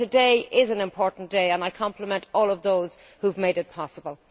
but today is an important day and I compliment all of those who have made it possible.